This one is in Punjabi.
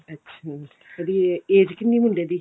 ਅੱਛਾ ਉਹਦੀ age ਕਿੰਨੀ ਮੁੰਡੇ ਦੀ